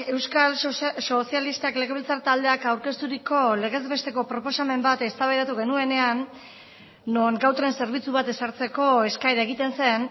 euskal sozialistak legebiltzar taldeak aurkezturiko legez besteko proposamen bat eztabaidatu genuenean non gau tren zerbitzu bat ezartzeko eskaera egiten zen